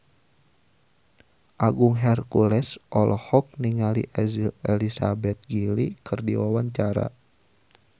Agung Hercules olohok ningali Elizabeth Gillies keur diwawancara